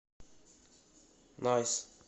найс